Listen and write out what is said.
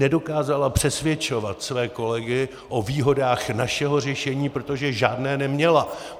Nedokázala přesvědčovat své kolegy o výhodách našeho řešení, protože žádné neměla.